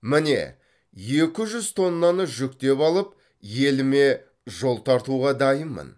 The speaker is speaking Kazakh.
міне екі жүз тоннаны жүктеп алып еліме жол тартауға дайынмын